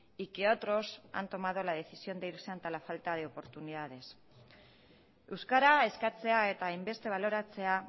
y que otros han tomado la decisión de irse ante la falta de oportunidades euskara eskatzea eta hainbeste baloratzea